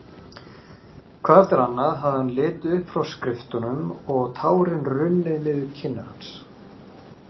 Hvað eftir annað hafði hann litið upp frá skriftunum og tárin runnið niður kinnar hans.